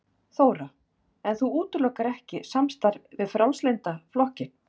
Þóra: En þú útilokar ekki samstarf við Frjálslynda flokkinn?